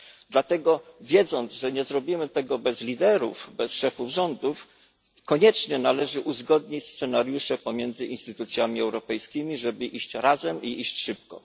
Dlatego wiedząc, że nie zrobimy tego bez liderów, bez szefów rządów, koniecznie należy uzgodnić scenariusze pomiędzy instytucjami europejskimi, żeby iść razem i iść szybko.